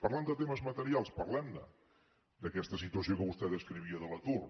parlem de temes materials parlem ne d’aquesta situació que vostè descrivia de l’atur